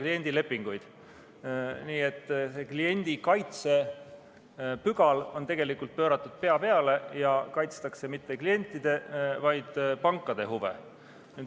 Nii et tegelikult on see kliendi kaitse pügal pööratud pea peale ja ei kaitsta mitte klientide, vaid pankade huve.